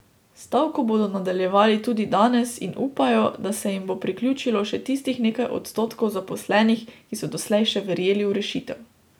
Stavko bodo nadaljevali tudi danes in upajo, da se jim bo priključilo še tistih nekaj odstotkov zaposlenih, ki so doslej še verjeli v rešitev.